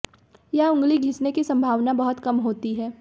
यह उंगली घिसने की संभावना बहुत कम होती है